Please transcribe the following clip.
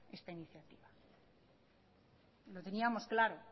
esta iniciativa lo teníamos claro